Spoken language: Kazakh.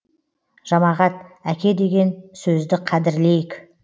жамағат әке деген сөзді қадірлейік